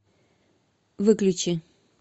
выключи